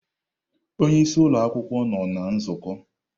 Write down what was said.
Onye isi ụlọ akwukwuo nọ na nzukọ.